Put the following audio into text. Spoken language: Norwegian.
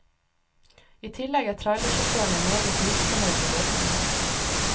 I tillegg er trailersjåførene meget misfornøyd med løsningen.